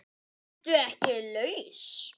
ERTU EKKI LAUS?